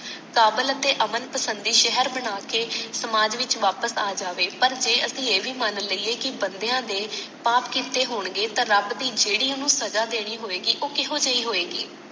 ਸਾਵਲ ਅਤੇ ਅਮੰਤ ਸੰਦੇ ਸ਼ਹਿਰ ਬਣਾਕੇ ਸਮਾਜ ਵਿੱਚ ਵਾਪਸ ਆ ਜਾਵੇ ਪਰ ਜੇ ਅਸੀਂ ਇਹ ਭੀ ਮਨ ਲਈਏ ਕਿ ਬੰਦਿਆਂ ਦੇ ਪਾਪ ਕੀਤੇ ਹੋਣਗੇ ਤਾਂ ਰੱਬ ਦੀ ਜੇਡੀ ਓਹਨੂੰ ਸਜਾ ਦੇਣੀ ਹੋਏਗੀ ਉਹ ਕੇਹੋਜੀ ਹੋਏਗੀ